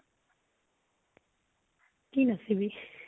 কি নাচিবি?